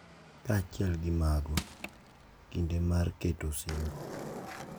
Kaachiel gi mago, kinde mar keto osimbo,